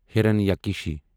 ہیرانیاکٕشی